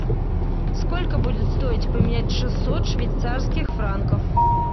сколько будет стоить поменять шестьсот швейцарских франков